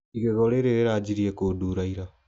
Igego rĩrĩ rĩrajirie kũndura ira.